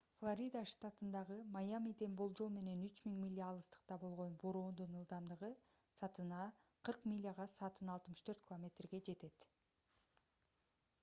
флорида штатындагы майамиден болжол менен 3000 миля алыстыкта болгон бороондун ылдамдыгы саатына 40 миляга саатына 64 км жетет